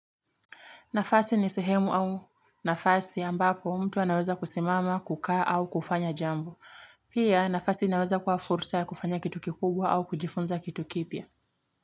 Nafasi ni sehemu au nafasi ambapo mtu anaweza kusimama, kukaa au kufanya jambo. Pia nafasi naweza kwa fursa ya kufanya kitu kikubwa au kujifunza kitu kipia.